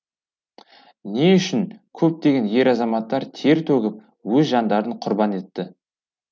не үшін көптеген ер азаматтар тер төгіп өз жандарын құрбан етті